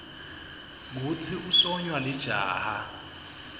kutsi usonywa lijaha